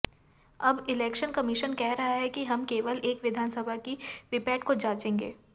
अब election commission कह रहा है कि हम केवल एक विधानसभा की वीपैट को जांचेंगे